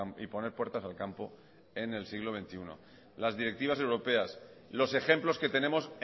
y poner puertas al campo en el siglo veintiuno las directivas europeas los ejemplos que tenemos